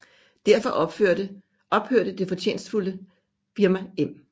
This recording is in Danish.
Derfor ophørte det fortjenstfulde firma Em